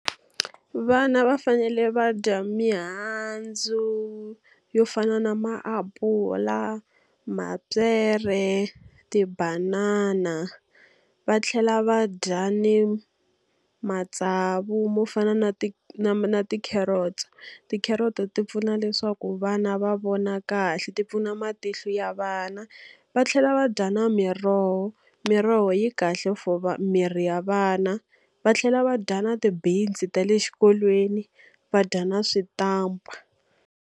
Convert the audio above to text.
Vana va fanele va dya mihandzu yo fana na maapula, mapyere, tibanana. Va tlhela va dya ni matsavu mo fana na na na ti-carrots. Ti-carrot-o ti pfuna leswaku vana va vona kahle ti pfuna matihlo ya vana, va tlhela va dya na miroho. Miroho yi kahle for miri ya vana, va tlhela va dya na ti-beans-i ta le xikolweni va dya na switampa.